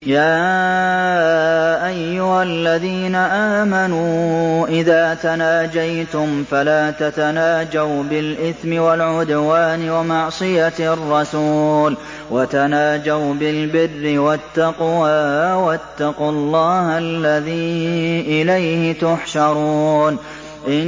يَا أَيُّهَا الَّذِينَ آمَنُوا إِذَا تَنَاجَيْتُمْ فَلَا تَتَنَاجَوْا بِالْإِثْمِ وَالْعُدْوَانِ وَمَعْصِيَتِ الرَّسُولِ وَتَنَاجَوْا بِالْبِرِّ وَالتَّقْوَىٰ ۖ وَاتَّقُوا اللَّهَ الَّذِي إِلَيْهِ تُحْشَرُونَ